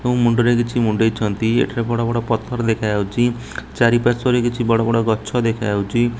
ମୁଣ୍ଡରେ କିଛି ମୁଣ୍ଡେଇଛନ୍ତି ଏଠାରେ ବଡ଼ ବଡ ପଥର ଦେଖାଯାଉଛି ଚାରି ପାର୍ଶ୍ଵ ରେ କିଛି ବଡ଼ ବଡ଼ ଗଛ ଦେଖାଯାଉଛି।